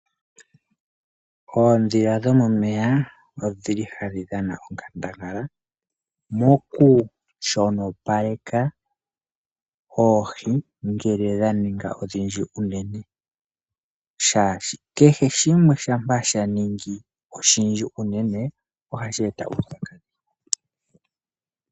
Oondhila dhomomeya odhili hadhi dhana onkandangala moku shonopaleka oohi ngele dha ninga odhindji unene ,oshoka kehe shimwe shampa sha ningi oshindji unene ohashi eta uupyakadhi.